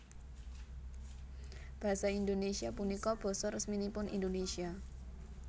Basa Indonésia punika basa resminipun Indonésia